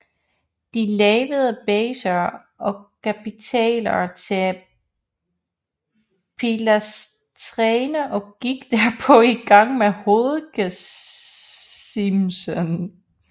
De lavede baser og kapitæler til pilastrene og gik derpå i gang med hovedgesimsen